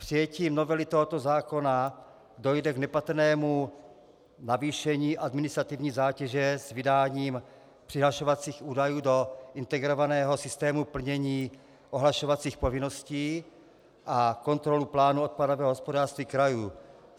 Přijetím novely tohoto zákona dojde k nepatrnému navýšení administrativní zátěže s vydáním přihlašovacích údajů do integrovaného systému plnění ohlašovacích povinností a kontrolou plánu odpadového hospodářství krajů.